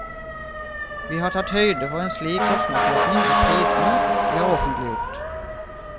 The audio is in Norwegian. Vi har tatt høyde for en slik kostnadsøkning i prisene vi har offentliggjort.